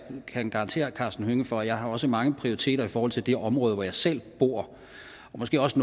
kan garantere herre karsten hønge for at jeg også har mange prioriteter i forhold til det område hvor jeg selv bor og måske også